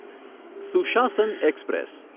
સુશાસન એક્સપ્રેસ